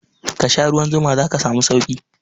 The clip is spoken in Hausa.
Kasha ruwan zuma zaka samu sauki